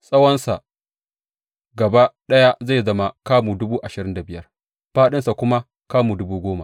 Tsawonsa gaba ɗaya zai zama kamu dubu ashirin da biyar, fāɗinsa kuma kamu dubu goma.